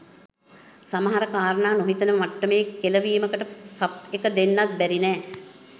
සමහර කාරණා නොහිතන මට්ටමේ කෙල වීමකට සප් එක දෙන්නත් බැරි නෑ